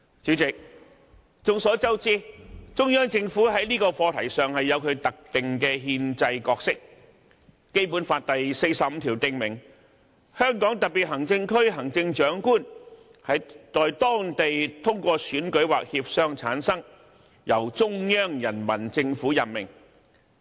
主席，眾所周知，中央政府在這個課題上有其特定的憲制角色，《基本法》第四十五條訂明，"香港特別行政區行政長官在當地通過選舉或協商產生，由中央人民政府任命。